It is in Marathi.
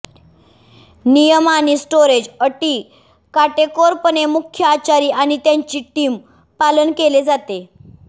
नियम आणि स्टोरेज अटी काटेकोरपणे मुख्य आचारी आणि त्याची टीम पालन केले जाते